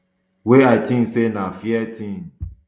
wey i tink say na fair tin um